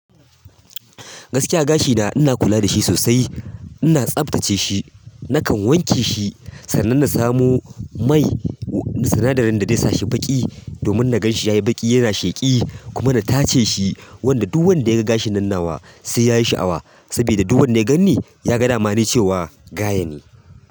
Gaskiya gashina ina kula da shi sosai, ina tsaftace shi. Nakan wanke shi sannan na samo mai, sinadarin da zai sa shi baƙi domin na gan shi ya yi baƙi yana sheƙi kuma na tace shi wanda duk wanda ya ga gashin nan nawa sai ya yi sha'awa sabida duk wanda ya gan ni ya ga damani cewa gaye ne.